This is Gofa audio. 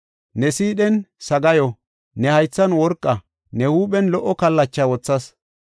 Ne sidhene, ne haythan worqa, ne huuphen lo77o kallacha wothas.